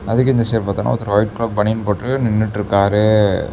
அதுக்கும் இந்த சைடு பார்த்தேனா ஒருத்தர் ஒயிட் கலர் பனியன் போட்டு நின்னுட்ருக்காரு.